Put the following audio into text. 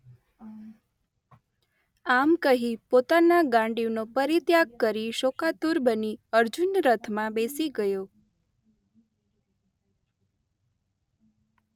આમ કહી પોતાના ગાંડિવનો પરિત્યાગ કરી શોકાતુર બની અર્જુન રથમાં બેસી ગયો.